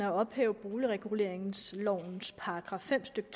at ophæve boligreguleringslovens § fem stykke